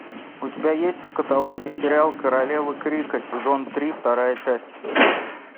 у тебя есть в каталоге сериал королевы крика сезон три вторая часть